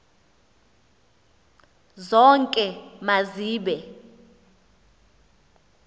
zonke ma zibe